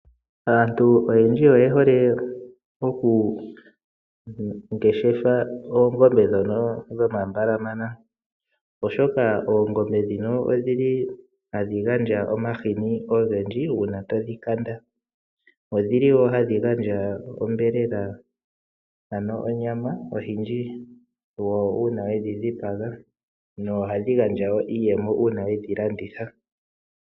Aantu oyendji oye hole oku ngeshefa oongombe dhino dhomambalamanya oshoka oongombe dhino odhili hadhi gandja omahini ogendji uuna to dhi kanda, odhili woo hadhi gandja onyama oyendji uuna we dhi dhipaga, no ohadhi gandja iiyemo uuna wedhilanditha.